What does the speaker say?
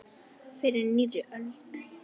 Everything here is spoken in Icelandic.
Fyrir nýrri öld!